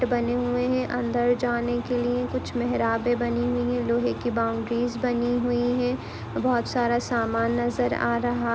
बने हुए है अंदर जाने के लिए कुछ मेहराबे बनी हुए है लोहे की बाउंड्रीज बनी हुई है बहुत सारा सामान नज़र आ रहा--